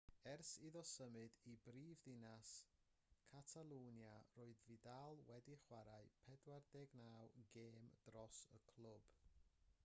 ers iddo symud i brifddinas catalwnia roedd vidal wedi chwarae 49 gêm dros y clwb